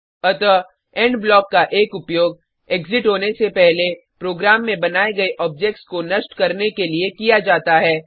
अतः end block का एक उपयोग एग्जिट होने से पहले प्रोग्राम में बनाये गये ऑब्जेक्ट्स को नष्ट करने के लिए किया जाता है